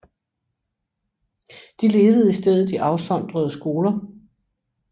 De levede i stedet i afsondrede skoler